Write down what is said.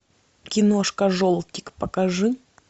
киношка желтик покажи